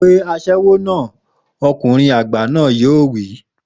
Pe aṣẹ́wó náà!,ọkùnrin àgbà náà yóò wí.